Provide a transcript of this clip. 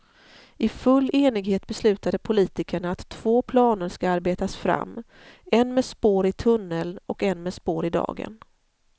I full enighet beslutade politikerna att två planer ska arbetas fram, en med spår i tunnel och en med spår i dagen.